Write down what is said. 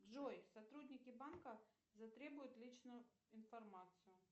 джой сотрудники банка затребуют личную информацию